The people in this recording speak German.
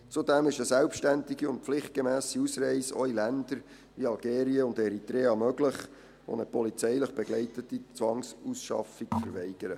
Zudem ist eine selbstständige und pflichtgemässe Ausreise auch in Länder wie Algerien und Eritrea möglich, die eine polizeilich begleitete Zwangsausschaffung verweigern.